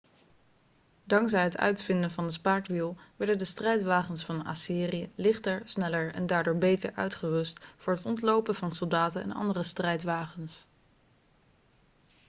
dankzij het uitvinden van het spaakwiel werden de strijdwagens van assyrië lichter sneller en daardoor beter uitgerust voor het ontlopen van soldaten en andere strijdwagens